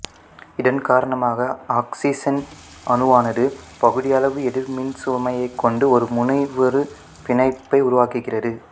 இதன் காரணமாக ஆக்சிசன் அணுவானது பகுதியளவு எதிர்மின்சுமையைக் கொண்டு ஒரு முனைவுறு பிணைப்பை உருவாக்குகிறது